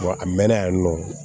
a mɛnna yan nɔ